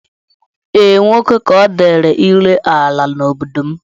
Ee, nwoke ka ọ dịịrị ire ala n'obodo m